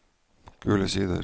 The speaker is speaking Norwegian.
Gule Sider